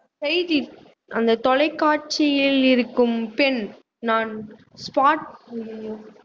செய்தி அந்த தொலைக்காட்சியில் இருக்கும் பெண் நான் spot அய்யய்யோ